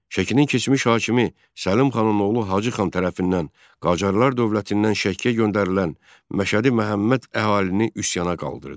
Şəkinin keçmiş hakimi Səlim xanın oğlu Hacı xan tərəfindən Qacarlar dövlətindən Şəkiyə göndərilən Məşədi Məhəmməd əhalini üsyana qaldırdı.